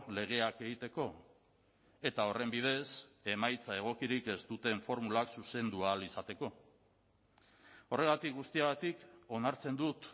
legeak egiteko eta horren bidez emaitza egokirik ez duten formulak zuzendu ahal izateko horregatik guztiagatik onartzen dut